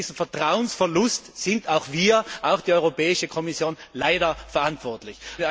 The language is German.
Und für diesen Vertrauensverlust sind auch wir, auch die Europäische Kommission, leider verantwortlich.